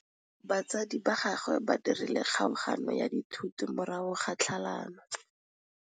Batsadi ba gagwe ba dirile kgaoganyô ya dithoto morago ga tlhalanô.